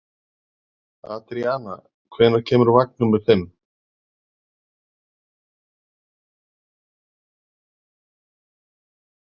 Adríana, hvenær kemur vagn númer fimm?